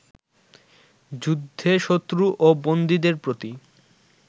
যুদ্ধে শত্রু ও বন্দীদের প্রতি